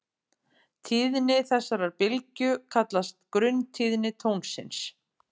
Tíðni þessarar bylgju kallast grunntíðni tónsins.